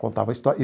Contava a história.